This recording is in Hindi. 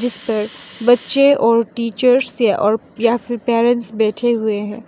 जिस पर बच्चे और टीचर्स या फिर पेरेंट्स बैठे हुए हैं।